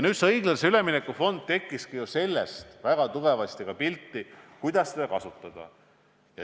Nüüd, õiglase ülemineku fond tuli väga tugevasti pildile ka seoses sellega, kuidas seda kasutada.